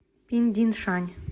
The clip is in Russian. пиндиншань